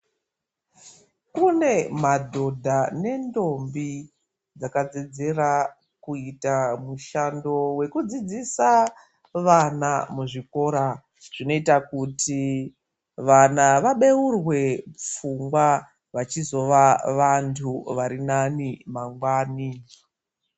Kune madhodha nendombi, dzakadzidzira kuita mushando wekudzidzisa vana muzvikora. Zvinoita kuti vana vabeurwe pfungwa, vachizova vantu vari nani mangwani.